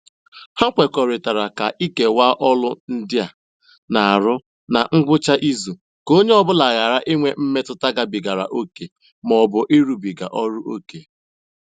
Ha kwekọrịtara ka ikewaa ọlụ ndị a um na-arụ ná um ngwụcha izu ka onye ọ bụla ghara inwe mmetụta gabigara ókè ma ọ bụ ịrụbiga ọlụ ókè.